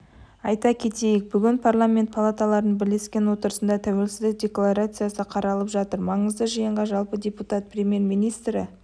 айта кетейік бүгін парламент палаталарыны бірлескен отырысында тәуелсіздік декларациясы қаралып жатыр маңызды жиынға жалпы депутат премьер-министрі